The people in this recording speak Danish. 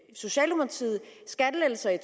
i socialdemokratiet skattelettelser i